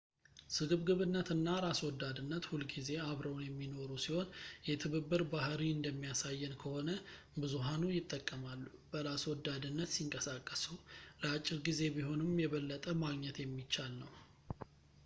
ስግብግነትና ራስወዳድነት ሁልጊዜ አብረውን የሚኖሩ ሲሆን የትብብር ባህርይ እንደሚያሳየን ከሆነ ብዙሀኑ ይጠቀማሉ በራስ ወዳድነት ሲንቀሳቀሱ ለአጭር ጊዜ ቢሆንም የበለጠ ማግኘት የሚቻል ነው